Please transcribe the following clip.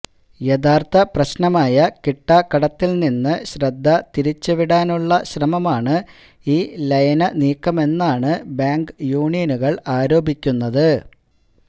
യഥാര്ത്ഥ പ്രശ്നമായ കിട്ടാക്കടത്തില് നിന്ന് ശ്രദ്ധ തിരിച്ചുവിടാനുളള ശ്രമമാണ് ഈ ലയനനീക്കമെന്നാണ് ബാങ്ക് യൂണിയനുകള് ആരോപിക്കുന്നത്